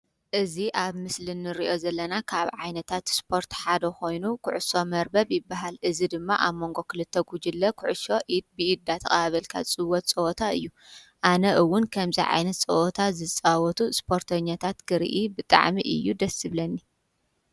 እዙ ኣብ ምስል ኒርእዮ ዘለና ካብ ዓይነታት ስፖርት ሓዶ ኾይኑ ዂዑሶ መርበብ ይበሃል። እዝ ድማ ኣብ መንጎ ኽልተ ጕጅለ ዂዑሶ ኢድ ብኢድ ተቓባበልካት ዝጽወት ጸወታ እዩ። ኣነ እውን ከምዛ ዓይነት ጸወታ ዝጸወቱ ስፖርተኛታት ክርኢ ብጠዕሚ እዩ ደስብለኒ።